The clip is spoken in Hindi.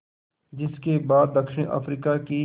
जिस के बाद दक्षिण अफ्रीका की